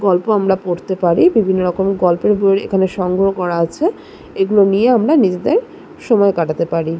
গল্প আমরা পড়তে পারি বিভিন্ন রকম গল্পের বই এখানে সংগ্রহ করা আছে এগুলো নিয়ে আমরা নিজেদের সময় কাটাতে পারি ।